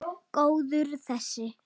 Góður þessi!